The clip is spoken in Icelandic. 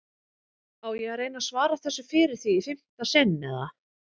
Á ég að reyna að svara þessu fyrir þig í fimmta sinn eða?